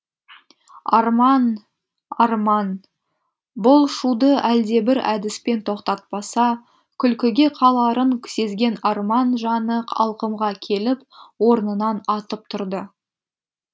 арман арман бұл шуды әлдебір әдіспен тоқтатпаса күлкіге қаларын сезген арман жаны алқымға келіп орнынан атып тұрды